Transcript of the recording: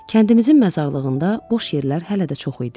Kəndimizin məzarlığında boş yerlər hələ də çox idi.